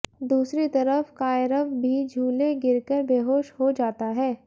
दूसरी तरफ कायरव भी झूले गिरकर बेहोश हो जाता है